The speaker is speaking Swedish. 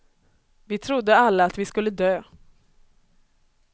Vi trodde alla att vi skulle dö.